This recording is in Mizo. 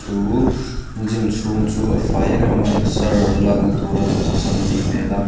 chu gym chhung chu a fai emem a exer lakna tura duhthusam anih hmel a.